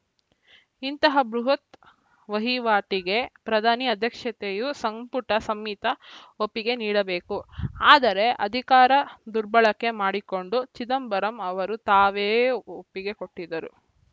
ಇಂತಹ ಬೃಹತ್‌ ವಹಿವಾಟಿಗೆ ಪ್ರಧಾನಿ ಅಧ್ಯಕ್ಷತೆಯು ಸಂಪುಟ ಸಂಮಿತ ಒಪ್ಪಿಗೆ ನೀಡಬೇಕು ಆದರೆ ಅಧಿಕಾರ ದುರ್ಬಳಕೆ ಮಾಡಿಕೊಂಡು ಚಿದಂಬರಂ ಅವರು ತಾವೇ ಒಪ್ಪಿಗೆ ಕೊಟ್ಟಿದ್ದರು